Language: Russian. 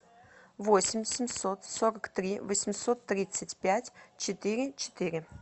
восемь семьсот сорок три восемьсот тридцать пять четыре четыре